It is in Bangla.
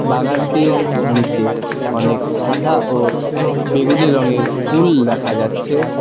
বাগানটির নীচে অনেক সাদা ও বেগুনি রঙের ফুল দেখা যাচ্ছে।